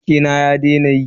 Wutan gaban keke na ya daina yi.